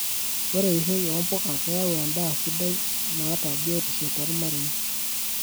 Ore eishoi oo mpuka keyau endaa sidai nata biotisho tomarei.